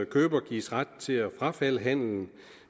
køber gives ret til at frafalde handelen